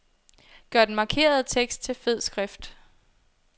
Gør den markerede tekst til fed skrift.